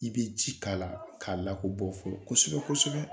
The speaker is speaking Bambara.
I be ji k'a la, k'a lako bɔ fɔ kosɛbɛ-kosɛbɛ.